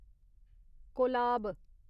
Kolab